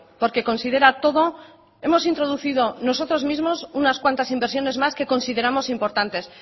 porque considera todo hemos introducido nosotros mismos unas cuantas inversiones más que consideramos importantes